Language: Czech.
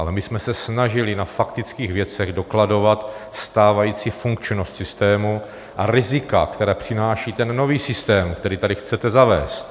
Ale my jsme se snažili na faktických věcech dokladovat stávající funkčnost systému a rizika, která přináší ten nový systém, který tady chcete zavést.